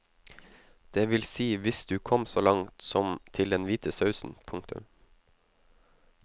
Det vil si hvis du kom så langt som til den hvite sausen. punktum